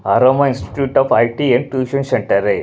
आरमा institute of eye and tuition centre है।